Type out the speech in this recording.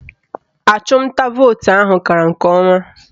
Achụmnta vootu ahụ gara nke ọma